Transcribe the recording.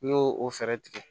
N'i y'o o fɛɛrɛ tigɛ